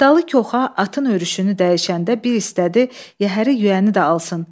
Niftalı Koxan atın örüşünü dəyişəndə bir istədi yəhəri, yüyəni də alsın.